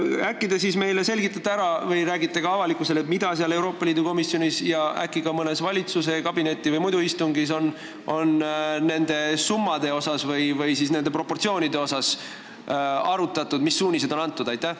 Äkki te selgitate selle meile ära ja räägite ka avalikkusele, mida on Euroopa Liidu komisjonis ja võib-olla ka mõnel valitsuskabineti või muul istungil nende summade või proportsioonide koha pealt arutatud, st mis suunised on antud?